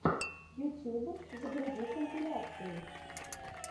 ютуб загрузи компиляции